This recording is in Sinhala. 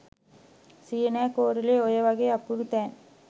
සියනෑ කෝරලේ ඔය වගේ අපූරු තැන්